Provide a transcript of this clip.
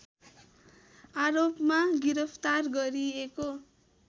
आरोपमा गिरफ्तार गरिएको